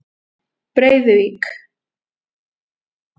Breiðuvík